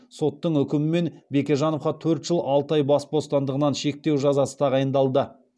соттың үкімімен бекежановқа төрт жыл алты ай бас бостандығын шектеу жазасы тағайындалды